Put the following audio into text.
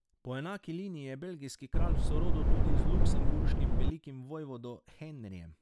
Po enaki liniji je belgijski kralj v sorodu tudi z luksemburškim velikim vojvodo Henrijem.